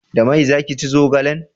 Da mai za ki ci zogalen?